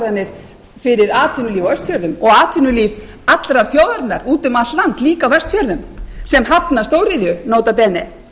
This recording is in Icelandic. ákvarðanir fyrir atvinnulíf á austfjörðum og atvinnulíf allrar þjóðarinnar úti um allt land líka á vestfjörðum sem hafna stóriðju nota bene